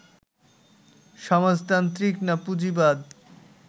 সমাজতান্ত্রিক না পুঁজিবাদ